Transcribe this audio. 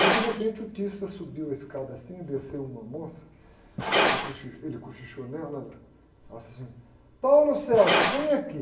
Aí de repente o subiu a escada assim, e desceu uma moça, ela, cochi, ele cochichou nela, ela, ela fez assim, vem aqui.